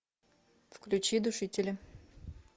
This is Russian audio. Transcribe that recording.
включи душители